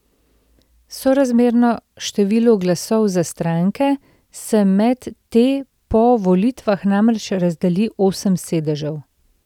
Sorazmerno številu glasov za stranke se med te po volitvah namreč razdeli osem sedežev.